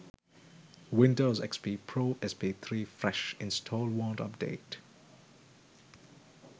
windows xp pro sp3 fresh install wont update